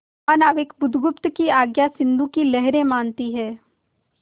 महानाविक बुधगुप्त की आज्ञा सिंधु की लहरें मानती हैं